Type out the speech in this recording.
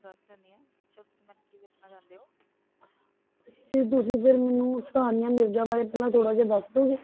ਤੇ ਤੁਸੀਂ ਫਿਰ ਮੈਨੂੰ ਸਾਨੀਆ ਮਿਰਜ਼ਾ ਬਾਰੇ ਪਹਿਲਾਂ ਥੋੜ੍ਹਾ ਜਿਹਾ ਦੱਸ ਦਓਗੇ?